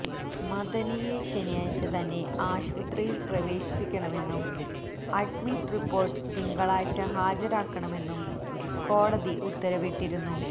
മദനിയെ ശനിയാഴ്ച്ച തന്നെ ആശുപത്രിയില് പ്രവേശിപ്പിക്കണമെന്നും അഡ്മിറ്റ് റിപ്പോര്ട്ട് തിങ്കളാഴ്ച്ച ഹാജരാക്കണമെന്നും കോടതി ഉത്തരവിട്ടിരുന്നു